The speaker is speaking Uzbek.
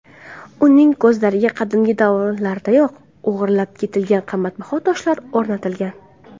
Uning ko‘zlariga qadimgi davrlardayoq o‘g‘irlab ketilgan qimmatbaho toshlar o‘rnatilgan.